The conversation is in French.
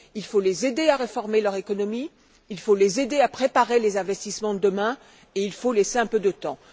Il faut les aider à réformer leur économie, il faut les aider à préparer les investissements de demain et il faut leur laisser un peu de temps.